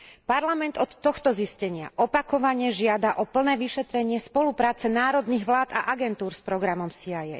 Parlament od tohto zistenia opakovane žiada o plné vyšetrenie spolupráce národných vlád a agentúr s programom CIA.